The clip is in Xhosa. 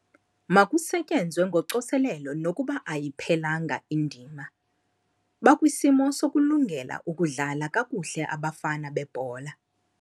Makusetyenzwe ngocoselelo nokuba ayiphelanga indima. Bakwisimo sokulungela ukudlala kakuhle abafana bebhola.